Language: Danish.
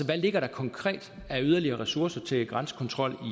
der ligger konkret af yderligere ressourcer til grænsekontrol